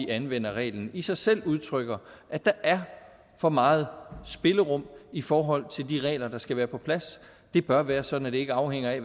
anvender reglen i sig selv udtrykker at der er for meget spillerum i forhold til de regler der skal være på plads det bør være sådan at det ikke afhænger af